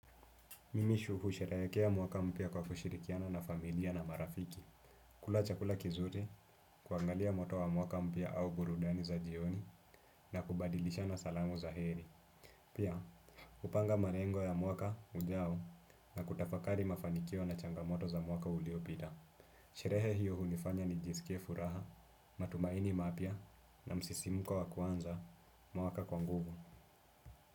Mimi husherekea mwaka mpya kwa kushirikiana na familia na marafiki. Kula chakula kizuri, kuangalia moto wa mwaka mpya au burudani za jioni na kubadilishana salamu za heri. Pia, hupanga marengo ya mwaka ujao na kutafakari mafanikio na changamoto za mwaka uliopita. Sherehe hiyo hunifanya nijisikie furaha, matumaini mapya na msisimko wa kuanza mwaka kwa nguvu.